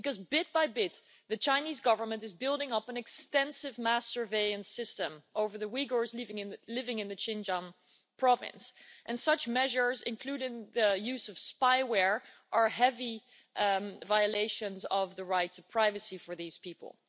Bit by bit, the Chinese Government is building up an extensive mass surveillance system over the Uyghurs living in the Xinjiang province and such measures, including the use of spyware, are heavy violations of the rights of privacy for these people.